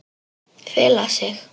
Fela sig.